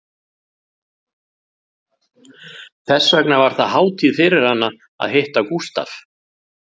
Þess vegna var það hátíð fyrir hana að hitta Gústaf